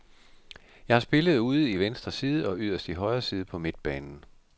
Jeg har spillet ude i venstre side og yderst i højre side på midtbanen.